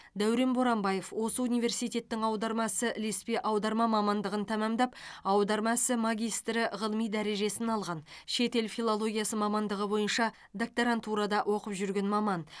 дәурен боранбаев осы университеттің аударма ісі ілеспе аударма мамандығын тәмамдап аударма ісі магистрі ғылыми дәрежесін алған шетел филологиясы мамандығы бойынша докторантурада оқып жүрген маман